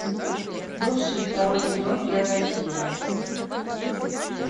бывшие второй сезон первая серия